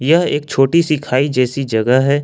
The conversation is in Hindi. यह एक छोटी सी खाई जैसी जगह है।